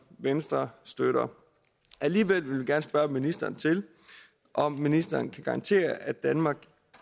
venstre støtter alligevel vil vi gerne spørge ministeren om ministeren kan garantere at danmark